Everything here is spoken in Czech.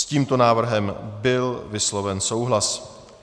S tímto návrhem byl vysloven souhlas.